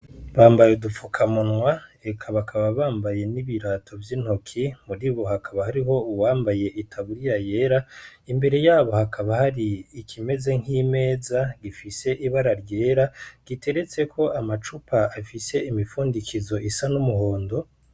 Bambaye udufukamunwa eka bakaba bambaye n'ibirato vyintoki muribo hakaba hariho uwambaye itaburiya yera imbere yabo hakaba hari ikimeze nkimeza gifise ibara ryera giteretseko amacupa afise imifundikizo isa n'umuhondo.